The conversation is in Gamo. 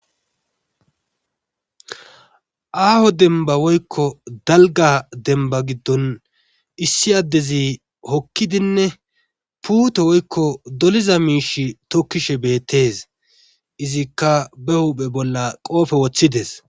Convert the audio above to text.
Aaho dembba woykko dalgga demba gidon issi addezi hokkidinne puute woykko doliza miishshe tokishe beetees. izikka ba huuphe bolla qoobe wotidees.